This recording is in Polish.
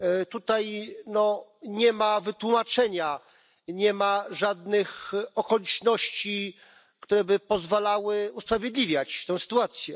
Tutaj nie ma wytłumaczenia i nie ma żadnych okoliczności, które by pozwalały usprawiedliwiać tę sytuację.